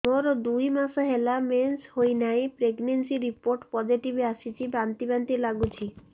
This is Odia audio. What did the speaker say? ମୋର ଦୁଇ ମାସ ହେଲା ମେନ୍ସେସ ହୋଇନାହିଁ ପ୍ରେଗନେନସି ରିପୋର୍ଟ ପୋସିଟିଭ ଆସିଛି ବାନ୍ତି ବାନ୍ତି ଲଗୁଛି